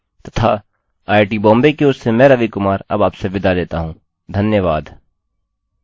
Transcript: आपसे फिर मिलेंगे यह स्क्रिप्ट सकीना शेख द्वारा अनुवादित है तथा आईआईटी बॉम्बे की ओर से मैं रवि कुमार आपसे विदा लेता हूँ धन्यवाद